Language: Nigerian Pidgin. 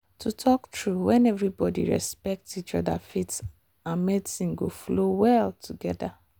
to talk true when everybody respect each other faith and medicine go flow well together.